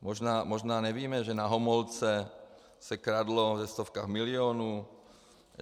Možná nevíme, že na Homolce se kradlo ve stovkách milionů.